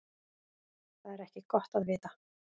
Það er ekki gott að vita.